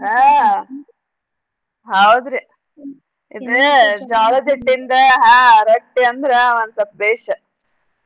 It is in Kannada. ಅದ್ರಾಗ ಹಾ ಹೌದ್ರಿ ಇದ್ ಜ್ವಾಳದ್ ಹಿಟ್ಟಿಂದ ಹಾ ರೊಟ್ಟೀ ಅಂದ್ರ ಒನ್ಸಲ್ಪ್ ಬೇಷ್.